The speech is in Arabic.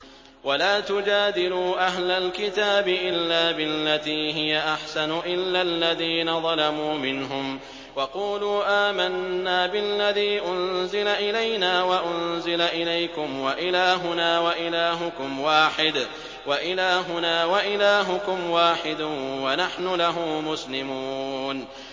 ۞ وَلَا تُجَادِلُوا أَهْلَ الْكِتَابِ إِلَّا بِالَّتِي هِيَ أَحْسَنُ إِلَّا الَّذِينَ ظَلَمُوا مِنْهُمْ ۖ وَقُولُوا آمَنَّا بِالَّذِي أُنزِلَ إِلَيْنَا وَأُنزِلَ إِلَيْكُمْ وَإِلَٰهُنَا وَإِلَٰهُكُمْ وَاحِدٌ وَنَحْنُ لَهُ مُسْلِمُونَ